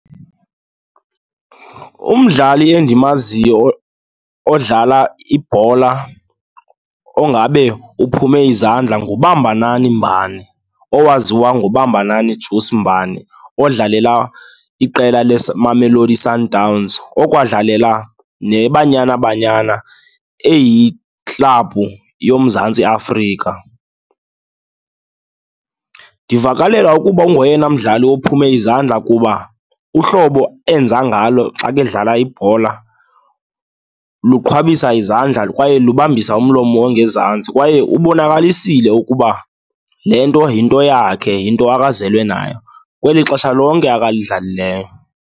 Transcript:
Umdlali endimaziyo odlala ibhola ongabe uphume izandla nguBambanani Mbane, owaziswa ngoBambanani Juice Mbane, odlalela iqela le Mamelodi Sundowns, okwadlalela neBanyana Banyana eyiklabhu yoMzantsi Afrika. Ndivakalelwa ukuba ungoyena mdlali ophume izandla kuba uhlobo enza ngalo xa bedlala ibhola luqhwabisa izandla kwaye lubambisa umlomo ongezantsi. Kwaye ubonakalisile ukuba le nto yinto yakhe, yinto azelwe nayo kweli xesha lonke alidlalalileyo.